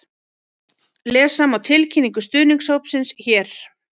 Lesa má tilkynningu stuðningshópsins hér